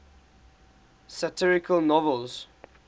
satirical novels